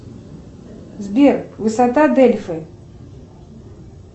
сбер высота дельфы